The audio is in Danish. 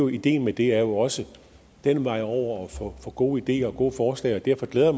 ideen med det er jo også den vej over at få gode ideer og gode forslag derfor glæder